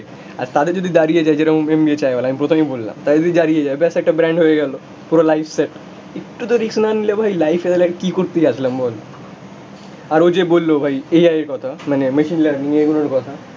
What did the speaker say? আর তাতে যদি দাঁড়িয়ে যায় যেরম MBA চায়ওয়ালা, আমি প্রথমেই বললাম, তাতে যদি দাঁড়িয়ে যায়, ব্যস একটা ব্রান্ড হয়ে গেল, পুরো লাইফ সেট একটু তো রিস্ক না নিলে ভাই লাইফ এ তাহলে কি করতে আসলাম বল আর ও যে বলল ভাই এআই এর কথা মানে মেশিন লার্নিং এগুলোর কথা